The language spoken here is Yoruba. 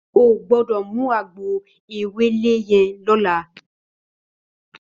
Ó gbòdò mú àgbó éwélé yèn lòlá